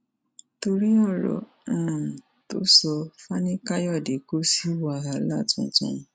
torí ọrọ um tó sọ fanikàyọdé kò sí wàhálà tuntun